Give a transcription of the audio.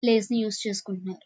Place ని use చేసుకుంటున్నారు.